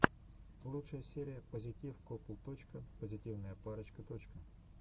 лучшая серия пазитив копл точка позитивная парочка точка